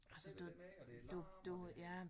Sidde dernede og det larmer og det